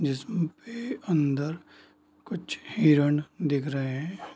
जिसम पे अंदर कुछ हिरण दिख रहे है।